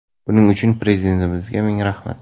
Buning uchun Prezidentimizga ming rahmat”.